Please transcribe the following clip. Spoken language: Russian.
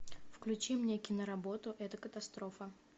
включи мне кино работу это катастрофа